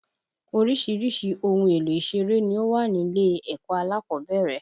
Oríṣiríṣi ohun èlò ìṣeré ni ó wà nílé ẹ̀kọ́ alákọ̀ọ́bẹ̀rẹ̀